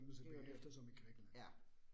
Det jo det. Ja